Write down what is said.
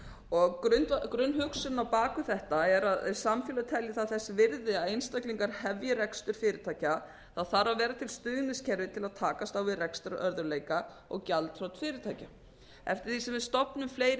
og tvö grunnhugsunin á bak við þetta er að samfélag telji það þess virði að einstaklingar hefji rekstur fyrirtækja það þarf að vera til stuðningskerfi til að takast á við rekstrarörðugleika og gjaldþrot fyrirtækja eftir því sem við stofnum fleiri